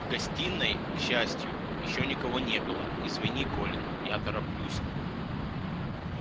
в гостиной к счастью ещё никого не было извини колин я тороплюсь